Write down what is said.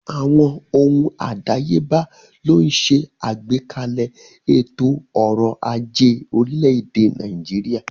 Àwọn ohun àdáyébá ló ń ṣe àgbékalẹ̀ ètò ọrọ̀ ajé orílẹ̀-èdè Nàìjíríà.